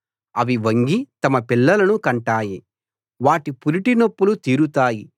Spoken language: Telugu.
అవి వంగి తమ పిల్లలను కంటాయి వాటి పురిటి నొప్పులు తీరుతాయి